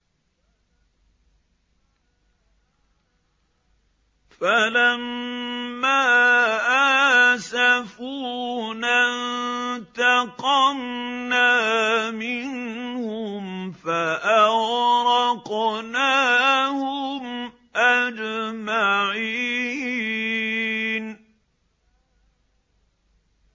فَلَمَّا آسَفُونَا انتَقَمْنَا مِنْهُمْ فَأَغْرَقْنَاهُمْ أَجْمَعِينَ